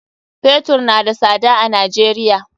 Fetur na da sada a Najeriya.